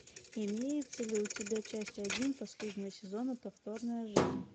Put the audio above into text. имеется ли у тебя часть один последнего сезона повторная жизнь